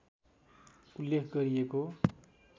उल्लेख गरिएको